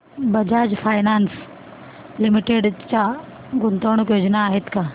Bajaj finance limited च्या गुंतवणूक योजना आहेत का